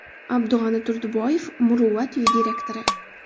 Abdug‘ani Turdiboyev Muruvvat uyi direktori.